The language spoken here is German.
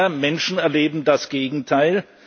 Immer mehr Menschen leben das Gegenteil.